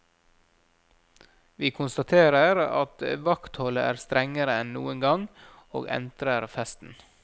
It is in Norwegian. Vi konstaterer at vaktholdet er strengere enn noen gang, og entrer festen.